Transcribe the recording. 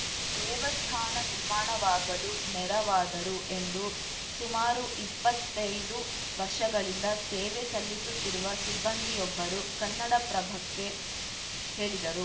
ದೇವಸ್ಥಾನ ನಿರ್ಮಾಣವಾಗಲು ನೆರವಾದರು ಎಂದು ಸುಮಾರು ಇಪ್ಪತ್ತೈದು ವರ್ಷಗಳಿಂದ ಸೇವೆ ಸಲ್ಲಿಸುತ್ತಿರುವ ಸಿಬ್ಬಂದಿಯೊಬ್ಬರು ಕನ್ನಡಪ್ರಭಕ್ಕೆ ಹೇಳಿದರು